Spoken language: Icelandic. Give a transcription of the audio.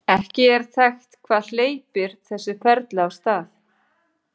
Ekki er þekkt hvað hleypir þessu ferli af stað.